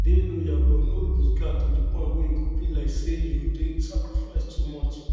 dey loyal but no loose no loose guard to point wey e go be like sey you dey sacrifice too much